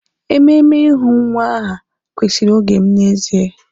Ememe ịhu nwa aha kwesịrị oge m n'ezie